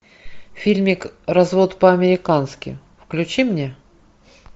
фильмик развод по американски включи мне